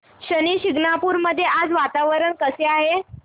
शनी शिंगणापूर मध्ये आज वातावरण कसे आहे